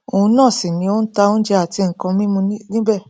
òun náà sì ni ó n ta oúnjẹ àti nnkan mímu níbẹ